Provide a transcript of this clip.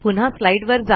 पुन्हा स्लाईडवर जा